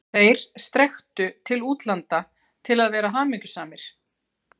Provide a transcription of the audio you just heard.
ÞEIR strekktu til útlanda til að vera hamingjusamir.